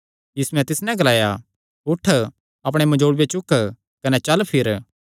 यीशुयैं तिस नैं ग्लाया उठ अपणे मंजोल़ूये चुक कने चल फिर